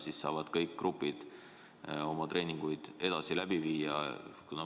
Siis saavad kõik grupid oma treeninguid edaspidigi läbi viia.